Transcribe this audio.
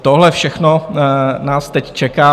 Tohle všechno nás teď čeká.